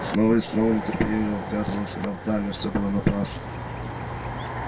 снова и снова нетерпеливо вглядывалась она вдаль но всё было напрасно